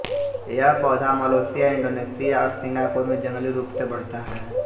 यह पौधा Malaysia Indonesia और सिंगापुर में जंगली रूप से बढ़ता है